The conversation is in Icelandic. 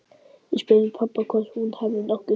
Ég spurði pabba hvort hún hefði nokkuð hringt.